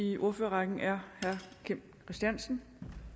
i ordførerrækken er herre kim christiansen